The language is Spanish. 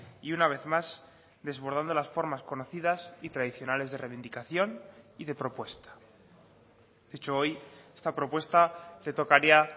y una vez más desbordando las formas conocidas y tradicionales de reivindicación y de propuesta dicho hoy esta propuesta le tocaría